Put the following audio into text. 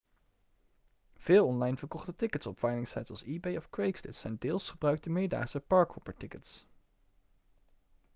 veel online verkochte tickets op veilingsites als ebay of craigslist zijn deels gebruikte meerdaagse park-hopper-tickets